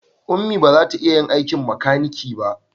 Ummi ba za ta iya yin aikin makaniki ba